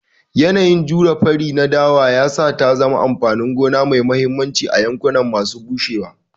Yanayin jure fari na dawa ya sa ta zama amfanin gona mai mahimmanci a yankuna masu bushewa.